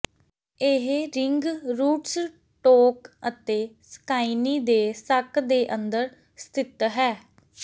ਇਹ ring rootstock ਅਤੇ ਸਕਾਈਨੀ ਦੇ ਸੱਕ ਦੇ ਅੰਦਰ ਸਥਿਤ ਹੈ